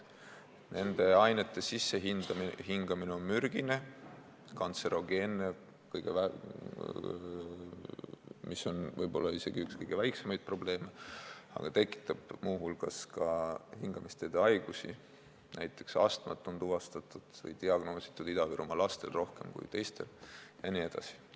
Need ained on sissehingamisel mürgised, kantserogeensed, mis on võib-olla isegi üks kõige väiksemaid probleeme, aga need tekitavad muu hulgas hingamisteede haigusi, näiteks astmat on Ida-Virumaa lastel diagnoositud rohkem kui teistel jne.